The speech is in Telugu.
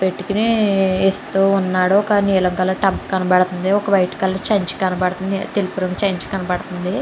పెట్టుకుని ఇస్తు ఉన్నాడు ఒక నీలం రంగు టబ్ కనబడుతుంది ఒక వైట్ కలర్ సంచి కనబడుతుంది. ఒక తెలుపు రంగు సంచి కనబడుతుంది.